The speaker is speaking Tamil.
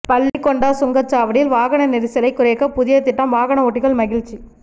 பள்ளிகொண்டா சுங்கச்சாவடியில் வாகன நெரிசலை குறைக்க புதிய திட்டம் வாகன ஓட்டிகள் மகிழ்ச்சி